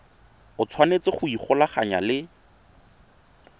o tshwanetse go ikgolaganya le